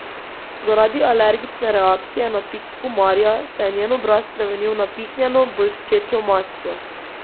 Zaradi alergične reakcije na pik komarja se je njen obraz spremenil v napihnjeno, bolščečo masko.